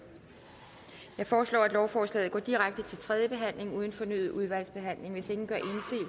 jeg foreslår at lovforslaget går direkte til tredje behandling uden fornyet udvalgsbehandling hvis ingen gør